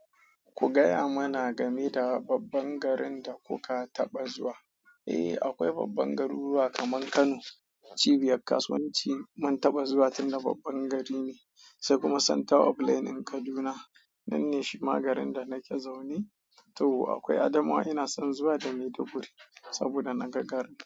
Ku gaya mana game da babban garin da kuka taɓa zuwa. Eh, aƙwai babban garuruwa kamar Kano, cibiyar kasuwanci. Mun taɓa zuwa tunda babban gari ne sai kuma center of learning Kaduna. Nanne shima garin da nake zaune. To aƙwai Adamawa ina son zuwa da maiduguri saboda naga garin.